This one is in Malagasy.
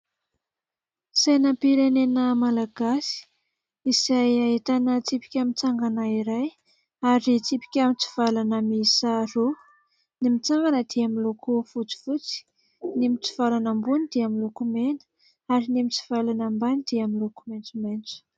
Sainam-pirenena malagasy izay ahitana tsipika mitsangana iray ary tsipika mitsivalana miisa roa. Ny mitsangana dia miloko fotsifotsy, ny mitsivalana ambony dia miloko mena ary ny mitsivalana ambany dia miloko maitsomaitso.